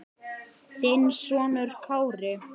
Þinn sonur Kári.